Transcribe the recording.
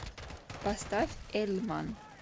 поставь эльман